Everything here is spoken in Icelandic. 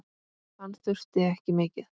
Hann þurfti ekki mikið.